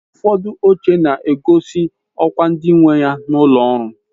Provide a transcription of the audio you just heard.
Ufodu oche na-egosi okwa ndi nweya n'ulo ọrụ